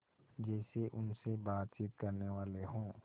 जैसे उनसे बातचीत करनेवाले हों